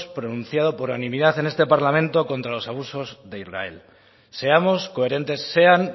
pronunciado por unanimidad en este parlamento contra los abusos de israel seamos coherentes sean